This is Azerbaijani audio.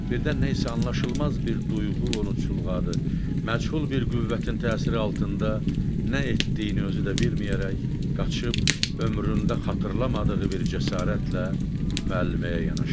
Birdən nə isə anlaşılmaz bir duyğu onu çulğadı; məchul bir qüvvətin təsiri altında nə etdiyini özü də bilməyərək qaçıb ömründə xatırlamadığı bir cəsarətlə müəlliməyə yanaşdı.